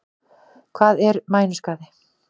Hvað er mænuskaði?